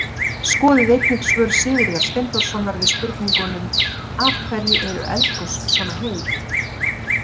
Skoðið einnig svör Sigurðar Steinþórssonar við spurningunum: Af hverju eru eldgos svona heit?